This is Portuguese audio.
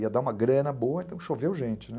Ia dar uma grana boa, então choveu gente, né?